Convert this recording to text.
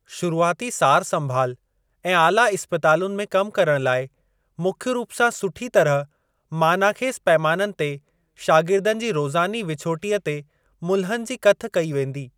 शुरूआती सार संभाल ऐं आला इस्पतालुनि में कम करण लाइ मुख्य रूप सां सुठी तरह मानाख़ेज़ पैमाननि ते शागिर्दनि जी रोज़ानी विछोटीअ ते मुल्हनि जी कथ कई वेंदी।